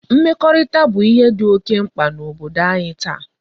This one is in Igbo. Mmekorita bu ihe di oke mkpa na Obodo anyi taa